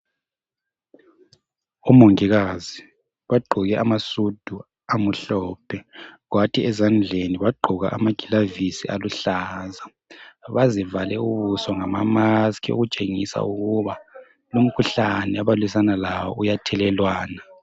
Omongikazi bagqoke amasudu amuhlophe, kwathi ezandleni bagqoka amagilavisi aluhlaza. Bazivale ubuso ngamamaskhi okutshengisa ukuba umkhuhlane abalwisana lawo uyathelelwana.